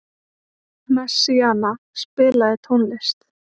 Messíana, spilaðu tónlist.